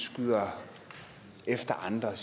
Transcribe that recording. skyder efter andre